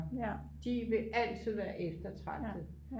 de vil altid være eftertragtede